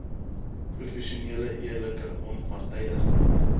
professionele eerlike onpartydige